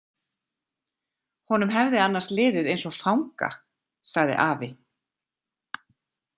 Honum hefði annars liðið eins og fanga, sagði afi.